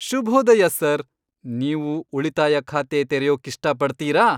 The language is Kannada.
ಶುಭೋದಯ ಸರ್! ನೀವು ಉಳಿತಾಯ ಖಾತೆ ತೆರೆಯೋಕ್ಕಿಷ್ಟಪಡ್ತೀರಾ?